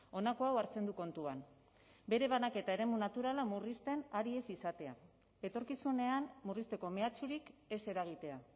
honako hau hartzen du kontuan bere banaketa eremu naturala murrizten ari ez izatea etorkizunean murrizteko mehatxurik ez eragitea